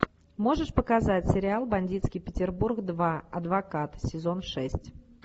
можешь показать сериал бандитский петербург два адвокат сезон шесть